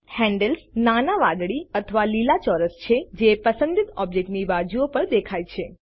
handles નાના વાદળી અથવા લીલા ચોરસ છે જે પસંદિત ઓબ્જેક્ટની બાજુઓ પર દેખાય છે